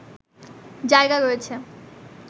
জায়গা রয়েছে